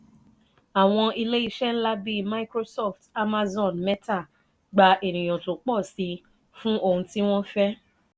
àwọn ilé ìṣe ńlá bí microsoft amazon mẹta gba ènìyàn tó pò sí fún òun ti wọn fẹ.